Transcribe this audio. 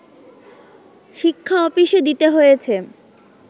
শিক্ষা অফিসে দিতে হয়েছে